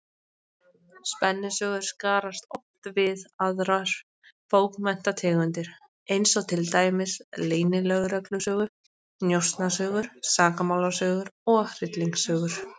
Spennusögur skarast oft við aðrar bókmenntategundir, eins og til dæmis leynilögreglusögur, njósnasögur, sakamálasögur og hryllingssögur.